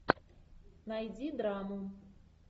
найди драму